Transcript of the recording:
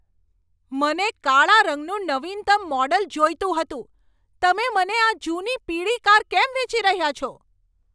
મને કાળા રંગનું નવીનતમ મોડલ જોઈતું હતું. તમે મને આ જૂની પીળી કાર કેમ વેચી રહ્યા છો?